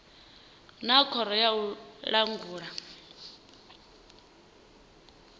na khoro ya u langula